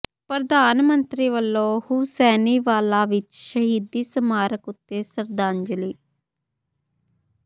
ਪ੍ਰਧਾਨ ਮੰਤਰੀ ਵੱਲੋਂ ਹੂਸੈਨੀਵਾਲਾ ਵਿੱਚ ਸ਼ਹੀਦੀ ਸਮਾਰਕ ਉਤੇ ਸ਼ਰਧਾਂਜਲੀ